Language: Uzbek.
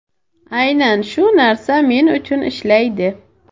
Aynan shu narsa men uchun ishlaydi.